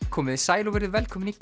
komiði sæl og verið velkomin í